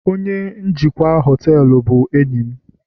onye njikwa họtelu bụ enyi m